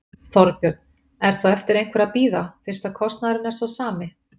Þorbjörn: Er þá eftir einhverju að bíða, fyrst að kostnaðurinn er sá sami?